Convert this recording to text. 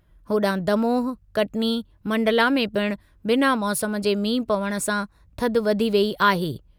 होॾांहुं दमोह, कटनी, मंडला में पिणु बिना मौसमु जे मींहुं पवण सां थधि वधी वेई आहे।